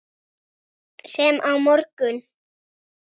Sem á morgun.